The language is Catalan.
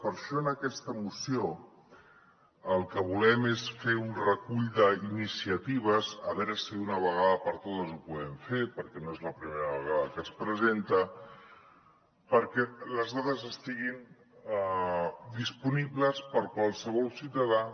per això en aquesta moció el que volem és fer un recull d’iniciatives a veure si d’una vegada per totes ho podem fer perquè no és la primera vegada que es presenta perquè les dades estiguin disponibles per a qualsevol ciutadà